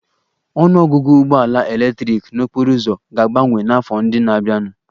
Ọnụ ọgụgụ ụgbọ ala eletrik n'okporo ụzọ ga-abawanye n'afọ ndị na-abịanụ